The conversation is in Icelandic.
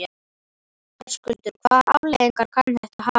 Höskuldur: Hvaða afleiðingar kann þetta að hafa?